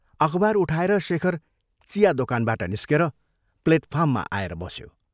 अखबार उठाएर शेखर चिया दोकानबाट निस्केर प्लेटफार्ममा आएर बस्यो।